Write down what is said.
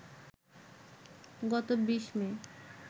গত ২০ মে